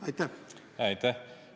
Aitäh!